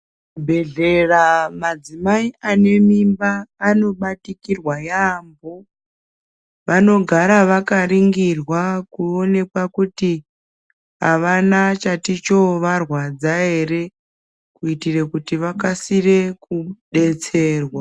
Muzvibhedhlera madzimai ane mimba anobatikirwa yaambo. Vanogara vakaringirwa kuonekwa kuti, havana chati chovarwadza here? kuitira kuti vakasire kudetserwa.